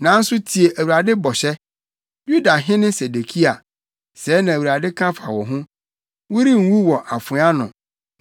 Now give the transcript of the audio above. “ ‘Nanso tie Awurade bɔhyɛ, Yudahene Sedekia. Sɛɛ na Awurade ka fa wo ho: Worennwu wɔ afoa ano;